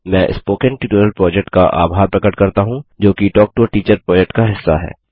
मैं spoken tutorial project का आभार प्रकट करता हूँ जो कि talk to a teacher project का हिस्सा है